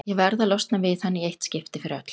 Ég verð að losna við hann í eitt skipti fyrir öll.